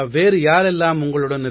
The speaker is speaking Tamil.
வேறு யாரெல்லாம் உங்களுடன்